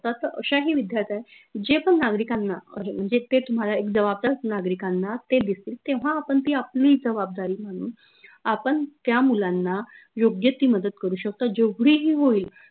असतात तर अश्याही विद्यार्थ जे पन नागरिकांना अं म्हनजे ते तुम्हाला एक जवाबदार नागरिकांना ते दिसतील तेव्हा आपन ती आपली जवाबदारी म्हनून आपन त्या मुलांना योग्य ती मदत करू शकतो जेवढीही होईल